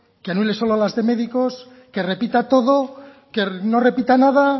que anule solo las de médicos que repita todo que no repita nada